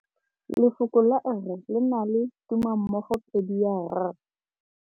Lefoko la rre, le na le tumammogôpedi ya, r.